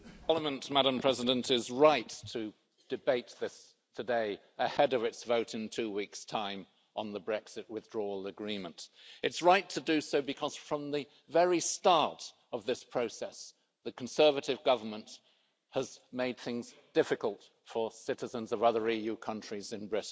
Madam President, this Parliament is right to debate this today ahead of its vote in two weeks' time on the Brexit Withdrawal Agreement. It's right to do so because from the very start of this process, the Conservative Government has made things difficult for citizens of other EU countries in Britain.